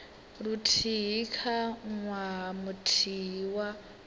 luthihi kha ṅwaha muthihi wa